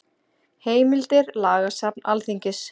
Heimildir Lagasafn Alþingis.